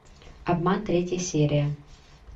обман третья серия